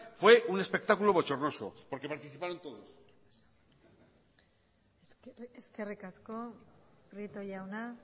fue un espectáculo bochornos porque participaron todos eskerrik asko prieto jauna